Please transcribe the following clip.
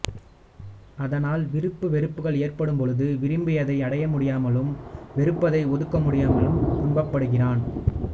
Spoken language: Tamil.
அதனால் விருப்பு வெறுப்புக்கள் ஏற்படும்பொழுது விரும்பியதை அடையமுடியாமலும் வெறுப்பதை ஒதுக்க முடியாமலும் துக்கப்படுகிறான்